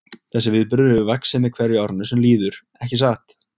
Þessi viðburður hefur vaxið með hverju árinu sem líður, ekki satt?